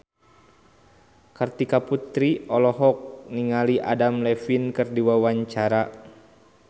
Kartika Putri olohok ningali Adam Levine keur diwawancara